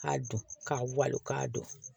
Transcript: K'a don k'a wali k'a don